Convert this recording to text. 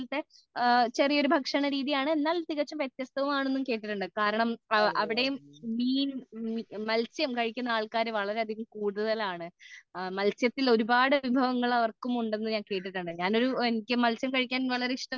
ചെറിയൊരു ഭക്ഷണരീതിയാണ് എന്നാൽ തികച്ചും വ്യത്യസ്തവും ആണെന്ന് കേട്ടിട്ടുണ്ട് കാരണം അവിടെയും മീനും മൽസ്യം കഴിക്കുന്ന ആൾക്കാരും വളരെ അതികം കൂടുതൽ ആണ് മൽസ്യത്തിലെ ഒരുപാട് വിഭവങ്ങൾ അവർക്കും ഉണ്ടെന്നു ഞാൻ കേട്ടിട്ടുണ്ട്ഞാൻ ഒരു എനിക്ക് മൽസ്യം കഴിക്കാൻ വളരെ ഇഷ്ടമാണ്